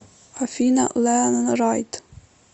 афина леанрайд